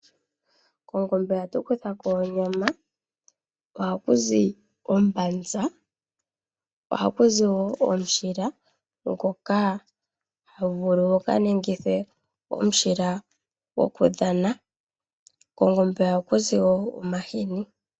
Kongombe oha tu kutha ko onyama. Oha ku zi ombanza. Oha ku zi wo omushila ha gu vulu gu ka ningithwe omushila gokudhana. Kongombe oha ku zi wo omahini.